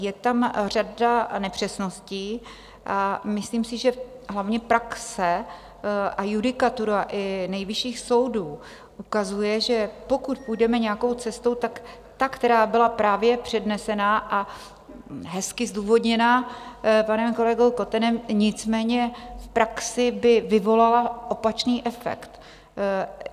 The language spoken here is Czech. Je tam řada nepřesností a myslím si, že hlavně praxe a judikatura i nejvyšších soudů ukazuje, že pokud půjdeme nějakou cestou, tak ta, která byla právě přednesena a hezky zdůvodněna panem kolegou Kotenem, nicméně v praxi by vyvolala opačný efekt.